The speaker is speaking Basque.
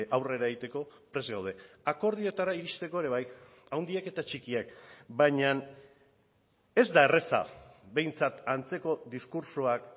aurrera egiteko prest gaude akordioetara iristeko ere bai handiak eta txikiak baina ez da erraza behintzat antzeko diskurtsoak